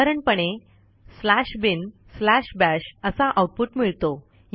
साधारणपणे binbash असा output मिळतो